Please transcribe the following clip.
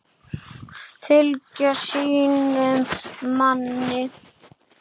Fylgja sínum manni.